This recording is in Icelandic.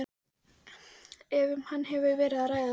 ef um hann hefur verið að ræða.